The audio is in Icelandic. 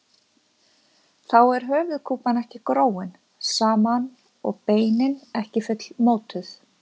Þá er höfuðkúpan ekki gróin saman og beinin ekki fullmótuð.